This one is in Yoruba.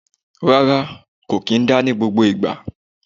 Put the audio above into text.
Rárá, kò kì í dá ní gbogbo ìgbà.